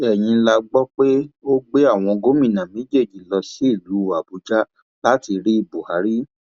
èyí la gbọ pé ó gbé àwọn gómìnà méjèèjì lọ sílùú àbújá láti rí buhari